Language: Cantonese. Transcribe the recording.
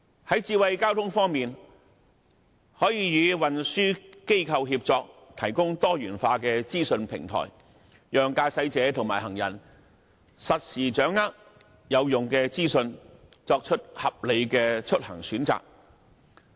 在智慧交通方面，可以與運輸機構協作，提供多元化資訊平台，讓駕駛者和行人實時掌握有用的資訊，作出合理的出行選擇。